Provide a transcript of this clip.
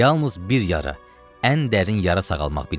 Yalnız bir yara, ən dərin yara sağalmaq bilmirdi.